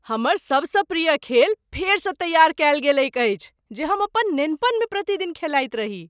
हमर सबसँ प्रिय खेल फेरसँ तैआर कयल गेलैक अछि जे हम अपन नेनपनमे प्रतिदिन खेलाइत रही।